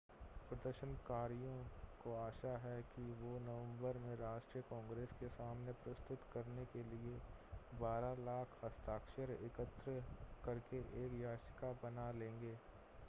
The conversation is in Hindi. प्रदर्शनकारियों को आशा है कि वो नवंबर में राष्ट्रीय कांग्रेस के सामने प्रस्तुत करने के लिए 12 लाख हस्ताक्षर एकत्र करके एक याचिका बना लेंगे